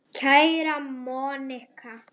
Kveðja, Monika.